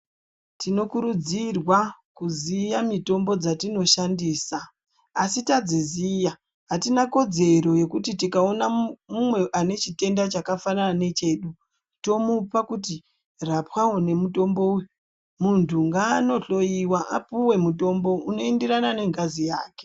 Tinokurudzirwa kuziya mitombo dzatinoshandisa asi tadziziya atina kodzero yekuti tikaona mumwe ane chitenda chakafanana nechedu tomupa kuti rapwawo nemutombo uyu muntu ngaanohloyiwa apuwe mutombo unoenderana nengazi yake.